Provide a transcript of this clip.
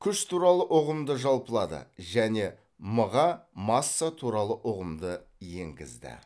күш туралы ұғымды жалпылады және м ға масса туралы ұғымды енгізді